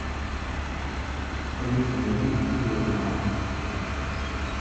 алиса найди мстители финал